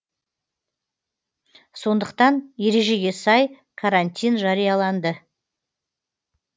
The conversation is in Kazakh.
сондықтан ережеге сай карантин жарияланды